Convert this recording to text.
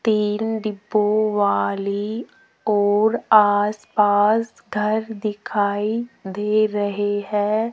तीन डिब्बों वाली और आसपास घर दिखाई दे रहे हैं।